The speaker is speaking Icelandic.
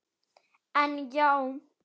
En já.